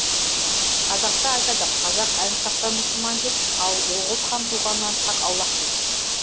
қазақта айтады қазақ әлімсақтан мұсылман деп ал оғұз хан туғанынан тақ аллаһ деген